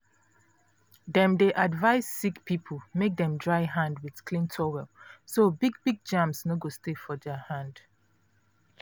dem dey advise sick people make dem dry hand with clean towel so big big germs no go stay for their hand.